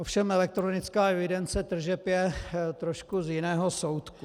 Ovšem elektronická evidence tržeb je trošku z jiného soudku.